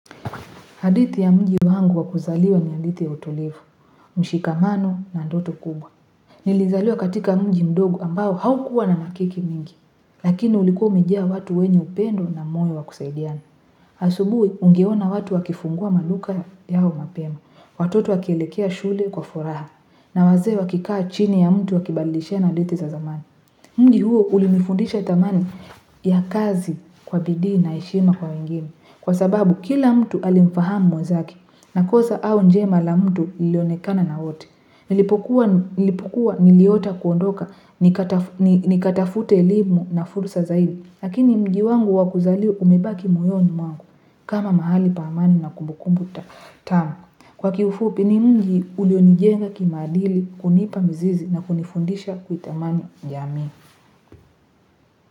Hadithi ya mji wangu wakuzaliwa ni hadithi ya utulivu, mshikamano na ndoto kubwa. Nilizaliwa katika mji mdogo ambao haukua na makiki mingi, lakini ulikuwa umejaa watu wenye upendo na moyo wakusaidiana. Asubuhi, ungeona watu wakifungua maduka yao mapema, watoto wakielekea shule kwa furaha, na wazee wakikaa chini ya mti wakibadilishana hadithi za zamani. Mji huo ulinifundisha dhamani ya kazi kwa bidii na heshima kwa wengine, kwa sababu kila mtu alimfahamu mwezake na kosa au njema la mtu lilionekana na wote Nilipokuwa nimeota kuondoka, nikatafute elimu na fursa zaidi, lakini mji wangu wakuzaliwa umebaki moyoni wangu kama mahali pa amani na kumbukumbu tamu. Kwa kiufupi ni mji ulionijenga kimaadili kunipa mizizi na kunifundisha kuitamani jamii.